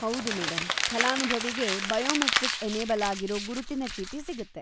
ಹೌದು ಮೇಡಂ! ಫಲಾನುಭವಿಗೆ ಬಯೋಮೆಟ್ರಿಕ್-‌ಎನೇಬಲ್‌ ಆಗಿರೋ ಗುರುತಿನ ಚೀಟಿ ಸಿಗುತ್ತೆ.